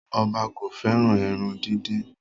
Oba ko feran eran didin